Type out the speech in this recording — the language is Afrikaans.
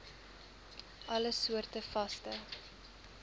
alle soorte vaste